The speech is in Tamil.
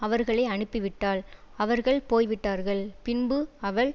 அவர்களை அனுப்பிவிட்டாள் அவர்கள் போய் விட்டார்கள் பின்பு அவள்